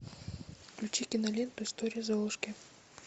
включи киноленту история золушки